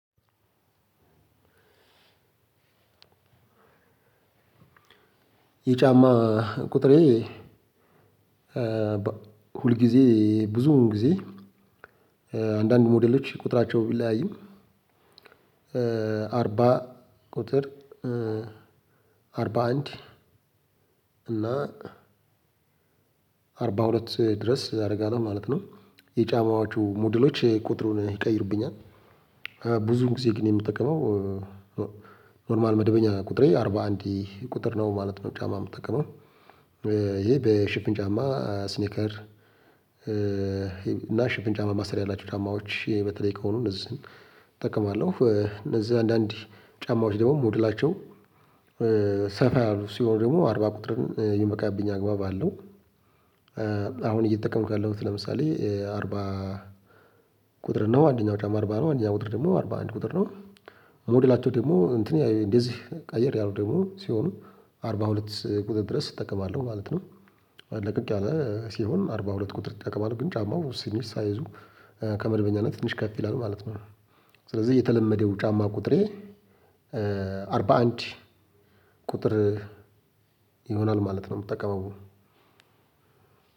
የጫማ ቁጥሬ። ሁልጊዜ ብዙውን ጊዜ አንዳንድ ሞዴሎች ቁጥራቸው ቢለያይም አርባ ቁጥር አርባ አንድ እና አርባ ሁለት ድረስ አደርጋለሁ ማለት ነው። የጫማዎቹ ሞዴሎች ቁጥሩን ይቀይሩብኛል። ብዙን ጊዜ ግን የምጠቀመው ኖርማል መደበኛ ቁጥር አርባ አንድ ቁጥር ነው ማለት ነው ጫማ የምጠቀመው። ይሄ በሽፍን ጫማ ስኔከር እና ሽፍን ጫማ ማሰሪያ ያላቸው ጫማዎች በተለይ ከሆኑ እነዚህን እጠቀማለሁ እነዚህ አንዳንድ ጫማዎች ደግሞ ሞዴላቸው ሰፋ ያሉ ሲሆን ደግሞ አርባ ቁጥርን የሚበቃኝ አግባብ አለው። አሁን እየተጠቀምክ ያለሁት ለምሳሌ አርባ ቁጥር ነው አንደኛው ጫማ አርባ ነው አንደኛው ቁጥር ደግሞ አርባ አንድ ቁጥር ነው። ሞዴላቸው ደግሞ እንትን እንደዚህ ቀየር ያሉ ደግሞ ሲሆኑ አርባ ሁለት ቁጥር ድረስ እጠቀማለሁ ማለት ነው። ለቀቅ ያለ ሲሆን አርባ ሁለት ቁጥር እጠቀማለሁ ግን ጫማው ትኝሽ ሳይዙም ከመደበኛነት ትንሽ ከፍ ያላል ማለት ነው። ስለዚህ የተለመደው ጫማ ቁጥሬ አርባ አንድ ቁጥር ይሆናል ማለት ነው የምጠቀመው።